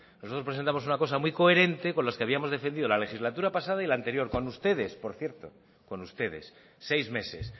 nosotros presentamos una cosa muy coherente con las que habíamos defendido la legislatura pasada y la anterior con ustedes por cierto con ustedes seis meses